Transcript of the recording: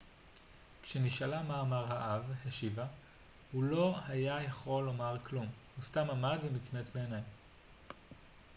כשנשאלה מה אמר האב השיבה הוא לא היה יכול לומר כלום הוא סתם עמד ומצמץ בעיניים